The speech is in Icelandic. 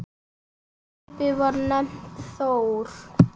Skipið var nefnt Þór.